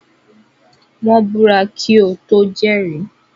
Wọ́n búra kí ó tó jẹ́rìí.